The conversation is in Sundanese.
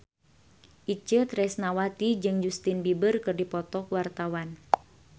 Itje Tresnawati jeung Justin Beiber keur dipoto ku wartawan